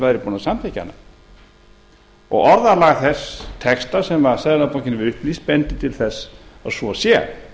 væri búin að samþykkja hana orðalag þess texta sem seðlabankinn hefur upplýst bendir til þess að svo sé